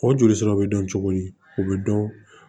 O jolisiraw be dɔn cogo di o bɛ dɔn